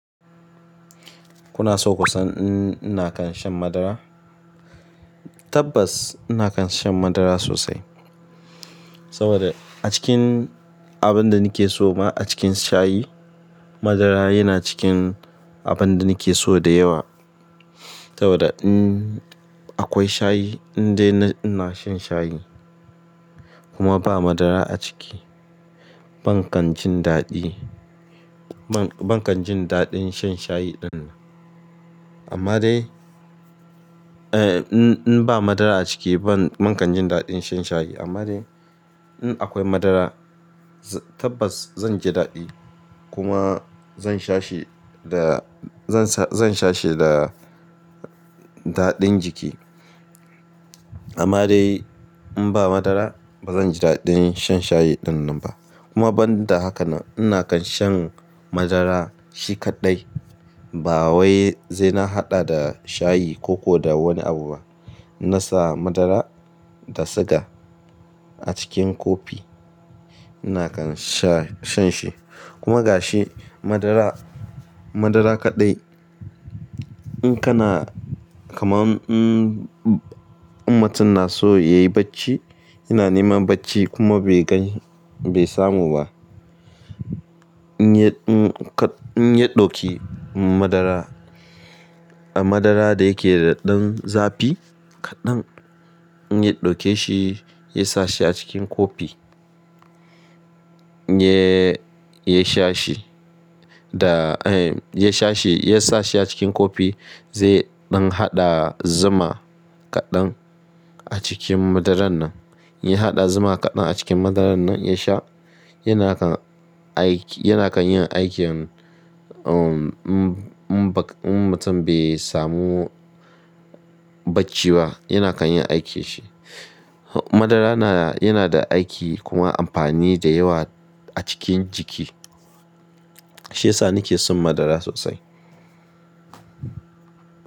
Kuna so ku san in ina kan shan madara? Tabbas ina kan shan madara sosai. Saboda a cikin abin da nake so ma a cikin shayi, madara yana cikin abin da nake so da yawa. Saboda in akwai shayi in dai ina shan shayi kuma ba madara a ciki, ban kan jin daɗi. Ban kan jin daɗin shan shayi dinnan. Amma dai, eh in ba madara a ciki ban-- ban kan jin daɗin shan shayi. Amma dai in akwai madara, tabbas zan ji daɗi kuma zan sha shi da-- zan sha shi da daɗin jiki. Amma dai in ba madara bazan ji daɗin shan shayi ɗinnan ba. Kuma ban da hakanan ina kan shan madara shi kaɗai ba wai zai na haɗa da shayi ko ko da wani abu ba. Na sa madara da siga a cikin kofi ina kan sha-- shan shi. Kuma ga shi madara, madara kaɗai in kana kamam in. In mutum na so ya yi bacci yana neman bacci kuma bai gani-- bai samu ba, in yi-- in yi ɗauki madara, a madara da yake da ɗan zafi. Kaɗan, in yi ɗauke shi, yasa shi a cikin kofi, in yi, ya sha shi da, eh ya sha shi, ya sa shi a cikin kofi. Zai ɗan haɗa zuma kaɗan a cikin madaran nan. Ya haɗa zuma kaɗan a cikin madaran nan ya sha yana kan aiki-- yana kan yin aiki in, um, in mutum bai samu. Bacci ba yana kan yin aikin shi. Madara na, yana da aiki kuma amfani da yawa a cikin jiki. Shi yasa nake son madara sosai.